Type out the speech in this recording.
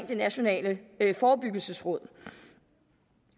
det nationale forebyggelsesråd